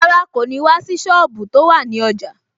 Rárá, kò ní wá sí sọ́ọ̀bù tó wà ní ọjà